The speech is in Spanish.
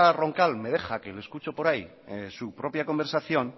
roncal me deja que la escuchó por ahí propia conversación